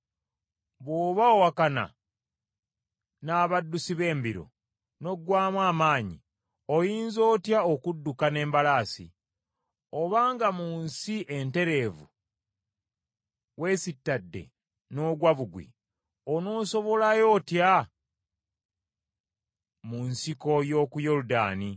“Bw’oba owakana n’abaddusi b’embiro n’oggwaamu amaanyi oyinza otya okudduka n’embalaasi? Obanga mu nsi entereevu weesitadde n’ogwa bugwi, onoosobolayo otya mu nsiko y’oku Yoludaani?